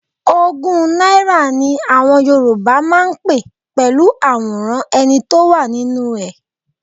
Ogún náírà ni àwọn Yorùbá máa ń pé pẹ̀lú àwòrán ẹni tó wà nínú ẹ̀.